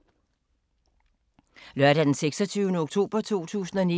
Lørdag d. 26. oktober 2019